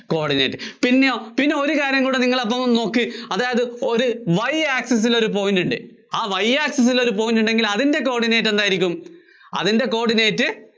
coordinate. പിന്നെയോ പിന്നെ ഒരു കാര്യം കൂടി നിങ്ങള്‍ അപ്പം ഒന്നു നോക്കി, അതായത് Y access ല്‍ ഒരു point ഉണ്ട്. ആ Y access ല്‍ ഒരു point ഉണ്ടെങ്കില്‍ അതിന്‍റെ coordinate എന്തായിരിക്കും? അതിന്‍റെ coordinate